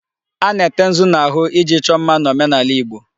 A na-ete nzu n'ahụ iji chọọ mma n'omenaala Igbo.